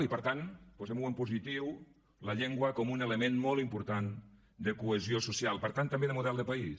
i per tant posem ho en positiu la llengua com un element molt important de cohesió social per tant també de model de país